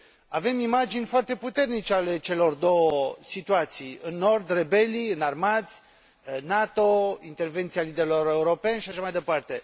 Avem imagini foarte puternice ale celor două situații în nord, rebelii înarmați, NATO, intervenția liderilor europeni și așa mai departe.